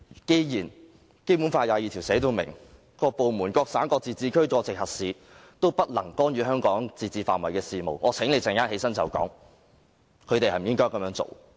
既然《基本法》第二十二條已訂明，各部門、各省、自治區、直轄市均不得干預香港自治範圍的事務，我請你稍後回應時確認他們應否這樣做。